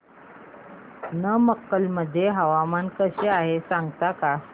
नमक्कल मध्ये हवामान कसे आहे सांगता का